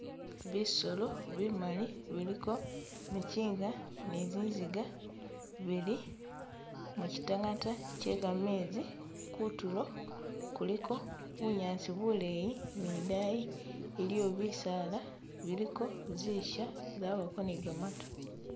Bisolo bimali biliko michinga ni ziziga bili muchi tangata kyegameezi kutulo kuliko bunyasi buleyi ni dayi iliyo bisaala biliko zisha zabako ni gamaatu.